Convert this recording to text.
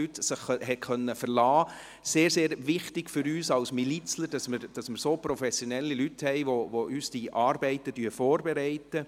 Es ist sehr, sehr wichtig für uns Milizler, dass wir so professionelle Leute haben, welche uns die Arbeiten vorbereiten.